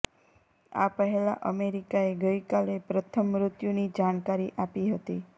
આ પહેલા અમેરિકાએ ગઈકાલે પ્રથમ મૃત્યુની જાણકારી આપી હતી